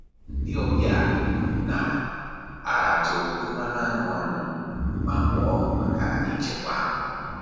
Ndị ọbịa na-aratụ mmanụ aṅụ anyị ma mụọ maka ichekwa aṅụ